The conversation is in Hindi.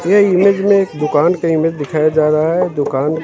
ये इंग्लिश में एक दुकान का इमेज दिखाई जा रहा है दुकान--